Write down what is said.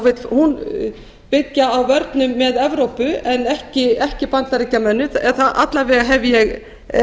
vill hún byggja á vörnum með evrópu en ekki bandaríkjamönnum eða alla vega hef ég